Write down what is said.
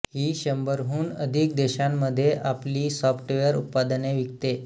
ही शंभराहून अधिक देशांमध्ये आपली सॉफ्टवेअर उत्पादने विकते